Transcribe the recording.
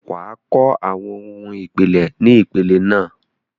wà á kọ́ àwọn ohun ìpìlẹ̀ ni ìpele náà.